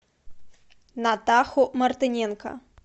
натаху мартыненко